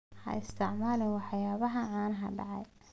Ha isticmaalin waxyaabaha caanaha dhacay.